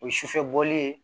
O ye sufɛ bɔli ye